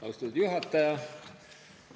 Austatud juhataja!